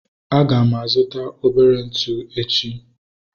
Aga m azuta obere ntụ echi